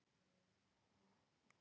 Mynd: Þjóðminjasafnið